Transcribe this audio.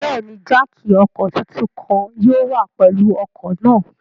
Bẹẹni, jáákí ọkọ titun kan yóò wa pẹlu ọkọ naa